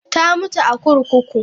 Ta mutu a kurkuku.